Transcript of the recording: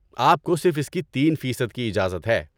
آپ کو صرف اس کی تین فیصد کی اجازت ہے